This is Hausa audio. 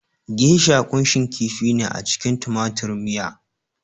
Geisha kunshin kifi ne a cikin tumatir miya